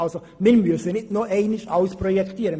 Wir müssen nicht nochmals alles projektieren.